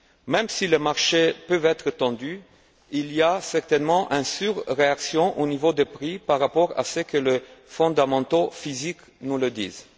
Même si les marchés peuvent être tendus, il y a certainement une sur réaction au niveau des prix par rapport à ce que les fondamentaux physiques nous disent.